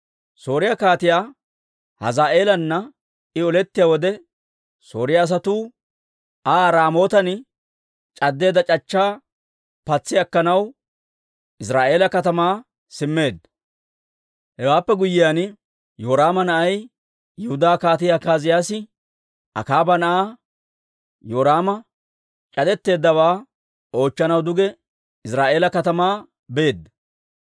Sooriyaa Kaatiyaa Hazaa'eelana I olettiyaa wode, Sooriyaa asatuu Aa Raamootan c'addeedda c'achchaa patsi akkanaw Iziraa'eela katamaa simmeedda. Hewaappe guyyiyaan, Yoraama na'ay, Yihudaa Kaatii Akaaziyaasi Akaaba na'aa Yoraama c'adetteeddawaa oochchanaw duge Iziraa'eela katamaa beedda.